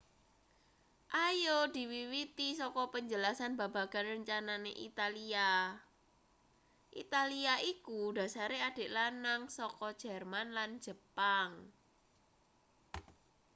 ayo diwiwiti saka penjelasan babagan rencanane italia italia iku dhasare adik lanang saka jerman lan jepang